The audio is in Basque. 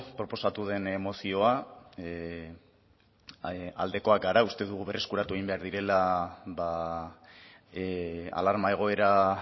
proposatu den mozioa aldekoak gara uste dugu berreskuratu egin behar direla alarma egoera